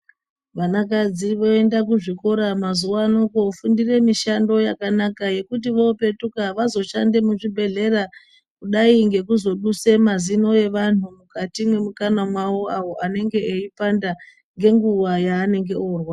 Vanakadzi voenda kuzvikora mazuwa ano, kofundire mishando yakanaka yekuti voopetuka vazoshande muzvibhedhlera, kudai ngekuzoduse mazino evanhu mukati mwemikanwa mwawo awo anenge eipanda ngenguwa yaanenge orwadza.